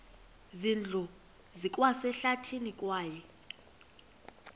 zindlu zikwasehlathini kwaye